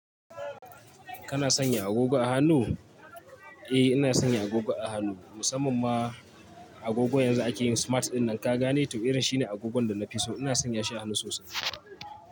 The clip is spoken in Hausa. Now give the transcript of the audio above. Kana sanya agogo a hannu? Eh ina sanya agogo a hannu, musamman ma agogon yanzu da akeyi smart ɗin nan ka gane tau irin shine agogon da na fi so. Ina sanya shi a hannu sosai.